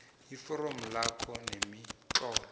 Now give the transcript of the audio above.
iforomo lakho nemitlolo